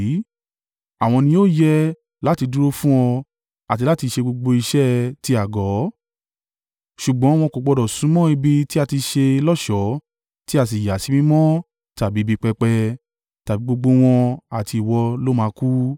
Àwọn ni ó yẹ láti dúró fún ọ àti láti ṣe gbogbo iṣẹ́ ti Àgọ́, ṣùgbọ́n wọn kò gbọdọ̀ súnmọ́ ibi tí a ti ṣe lọ́ṣọ̀ọ́ tí a sì yà sí mímọ́ tàbí ibi pẹpẹ, tàbí gbogbo wọn àti ìwọ ló máa kú.